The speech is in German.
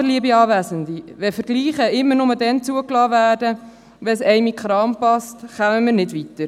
Aber, liebe Anwesende, wenn Vergleiche immer nur dann zugelassen werden, wenn es einen in den Kram passt, kommen wir nicht weiter!